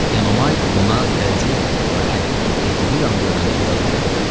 Enomay buna təəccüb etmədi, lakin Evtibidanı görəndə biraz duruxdu.